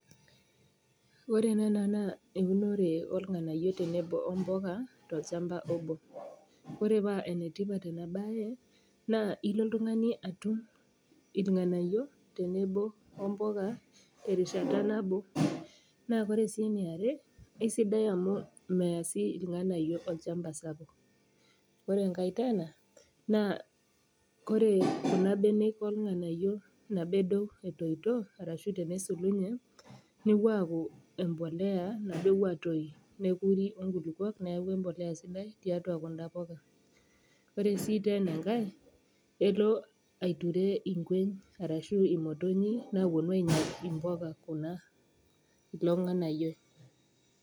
Ore ena naa eunore olng'anayo tenebo mboga tolchamba obo. Ore paa enetipat ena bae naa ilo oltung'ani atum ilng'anayio tenebo imboga terishata nabo. Naa ore sii eniarie, eisidai amu meya ilng'anayio olchamba sapuk. Ore enkai tena, naa ore kuna benek olng'anayio nabo edou etoito arashu tenesulunye, newuo aaku embolea nabo ewuo atoyu nekuri o nkulukuok neaku embolea sidai tiatua kuna poka. Ore sii tena enkai, elo aiture inkuen ashu imotonyi nawuonu ainyal impoka kuna, ilo ng'anayioi.